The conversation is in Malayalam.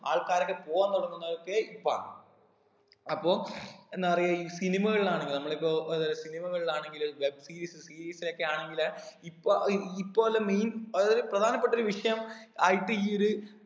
ആൾക്കാരൊക്കെ പോവാൻ തുടങ്ങുന്നതൊക്കെ ഇപ്പാണ് അപ്പൊ എന്താ പറയാ ഈ cinema കളിലാണെങ്കില് നമ്മള് ഇപ്പൊ ഏർ cinema കളിലാണെങ്കില് ഇലൊക്കെ ആണെങ്കില് ഇപ്പൊ അഹ് ഇപ്പോലെ main അതായതൊരു പ്രധാനപ്പെട്ടൊരു വിഷയം ആയിട്ട് ഈ ഒരു